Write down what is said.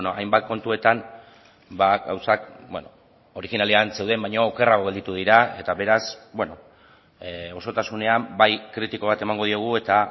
hainbat kontuetan gauzak originalean zeuden baino okerrago gelditu dira eta beraz osotasunean bai kritiko bat emango diogu eta